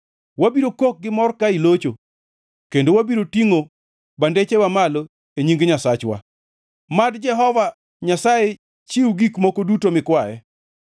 Wabiro kok gimor ka ilocho kendo wabiro tingʼo bendechwa malo e nying Nyasachwa. Mad Jehova Nyasaye chiw gik moko duto mikwaye.